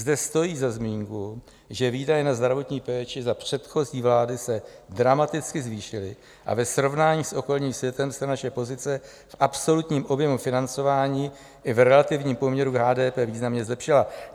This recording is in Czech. Zde stojí za zmínku, že výdaje na zdravotní péči za předchozí vlády se dramaticky zvýšily a ve srovnání s okolním světem se naše pozice v absolutním objemu financování i v relativním poměru k HDP významně zlepšila.